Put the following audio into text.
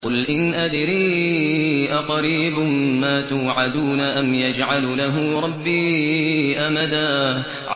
قُلْ إِنْ أَدْرِي أَقَرِيبٌ مَّا تُوعَدُونَ أَمْ يَجْعَلُ لَهُ رَبِّي أَمَدًا